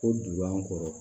Ko duguba kɔnɔ